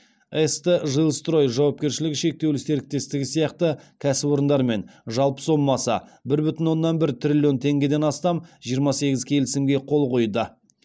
ст жилстрой жауапкершілігі шектеулі серіктестігі сияқты кәсіпорындармен жалпы сомасы бір бүтін оннан бір триллион теңгеден астам жиырма сегіз келісімге қол қойды